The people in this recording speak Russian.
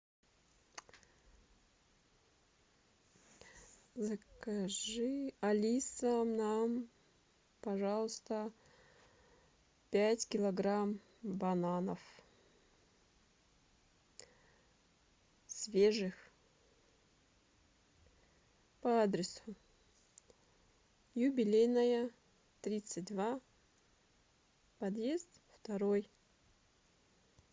закажи алиса нам пожалуйста пять килограмм бананов свежих по адресу юбилейная тридцать два подъезд второй